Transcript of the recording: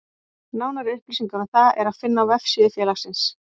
Nánari upplýsingar um það er að finna á vefsíðu félagsins.